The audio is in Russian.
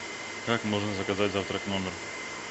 как можно заказать завтрак в номер